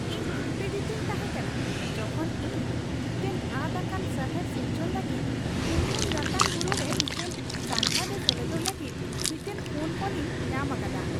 ᱤᱧ ᱩᱛᱛᱮᱡᱤᱛᱚᱧ ᱛᱟᱦᱮᱸ ᱠᱟᱱᱟ ᱡᱚᱠᱷᱚᱱ ᱤᱧ ᱢᱤᱫᱴᱟᱝ ᱟᱫ ᱟᱠᱟᱱ ᱥᱟᱦᱟᱨ ᱥᱤᱨᱡᱚᱱ ᱞᱟᱹᱜᱤᱫ ᱠᱩᱱᱼᱞᱩᱱ ᱨᱟᱛᱟᱝ ᱵᱩᱨᱩ ᱨᱮ ᱢᱤᱫᱴᱟᱝ ᱥᱟᱸᱜᱷᱟᱨ ᱨᱮ ᱥᱮᱞᱮᱫᱚᱜ ᱞᱟᱹᱜᱤᱫ ᱢᱤᱫᱴᱟᱝ ᱯᱷᱳᱱ ᱠᱚᱞ ᱤᱧ ᱧᱟᱢ ᱟᱠᱫᱟ ᱾